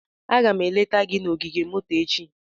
Aga m eleta gị na ogige moto echi.